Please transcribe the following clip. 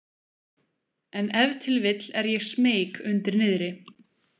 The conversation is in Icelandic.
En ef til vill er ég smeyk undir niðri.